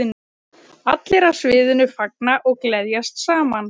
Allir á sviðinu fagna og gleðjast saman.